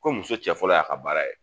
Ko muso cɛ fɔlɔ y'a ka baara ye